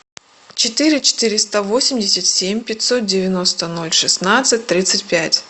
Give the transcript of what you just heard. четыре четыреста восемьдесят семь пятьсот девяносто ноль шестнадцать тридцать пять